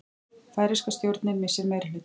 Færeyska stjórnin missir meirihluta